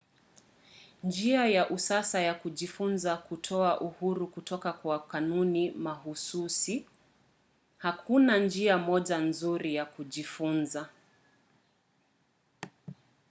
njia ya usasa ya kujifunza hutoa uhuru kutoka kwa kanuni mahsusi. hakuna njia moja nzuri ya kujifunza